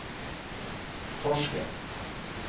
Torsken